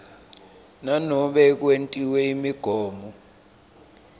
nanobe kwentiwe imigomo